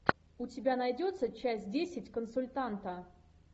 у тебя найдется часть десять консультанта